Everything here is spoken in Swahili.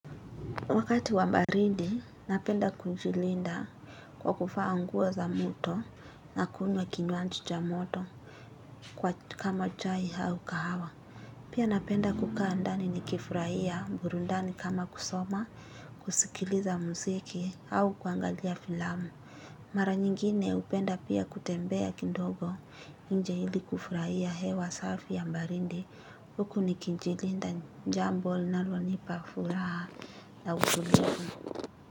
Wakati wa barindi, napenda kujilinda kwa kuvaa nguo za moto na kunywa kinywaji cha moto kwa kama chai hau kahawa. Pia napenda kukaa ndani nikifurahia mburundani kama kusoma, kusikiliza mziki au kuangalia filamu. Mara nyingine upenda pia kutembea kindogo nje ili kufurahia hewa safi ya mbarindi. Huku nikijilinda jambo linslonipa furhaa la utulivu.